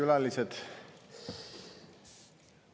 Head külalised!